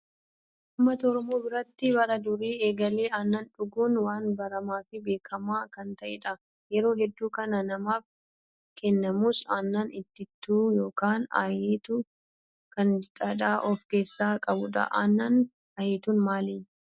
Uummata oromoo biratti bara durii eegalee aannan dhuguun waan baramaa fi beekamaa kan ta'edha. Yeroo hedduu kan namaaf kennamus aannan itittuu yookaan ayetuu kan dhadhaa of keessaa qabudha. Aannan ayetuun maali?